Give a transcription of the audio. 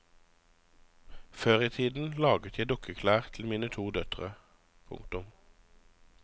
Før i tiden laget jeg dukkeklær til mine to døtre. punktum